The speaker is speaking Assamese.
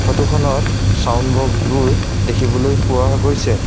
ফটো খনত ছাউণ্ড বক্স বোৰ দেখিবলৈ পোৱা গৈছে।